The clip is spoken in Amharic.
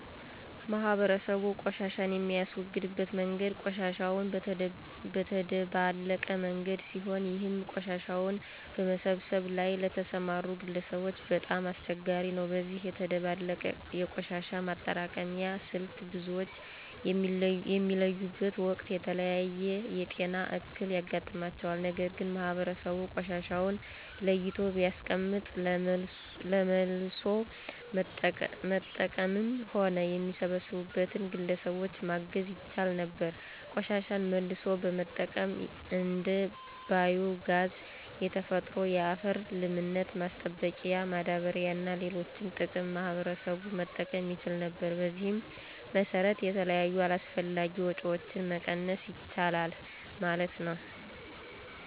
ማህበረሰቡ ቆሻሻን የሚያስወግድበት መንገድ ቆሻሻውን በተደባለቀ መንገድ ሲሆን ይህም ቆሻሻውን በመሰብሰብ ላይ ለተሰማሩ ግለሰቦች በጣም አስቸጋሪ ነው። በዚህ የተደባለቀ የቆሻሻ ማጠራቀሚያ ስልት ብዙዎች በሚለዩበት ወቅት የተለያየ የጤና እክል ያጋጥማቸዋል። ነገር ግን ማህበረሰቡ ቆሻሻውን ለይቶ ቢያስቀምጥ ለመልሶ መጠቀምም ሆነ የሚሰበሰብበትን ግለሰቦች ማገዝ ይቻል ነበር። ቆሻሻን መልሶ በመጠቀም እንደ ባዮ ጋዝ፣ የተፈጥሮ የአፈር ለምነት ማስጠበቂያ ማዳበሪያ እና ለሌሎች ጥቅም ማህበረሰቡ መጠቀም ይችል ነበር። በዚህም መሰረት የተለያዩ አላስፈላጊ ወጭዎችን መቀነስ ይቻላል ማለት ነው።